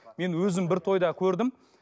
мен өзім бір тойда көрдім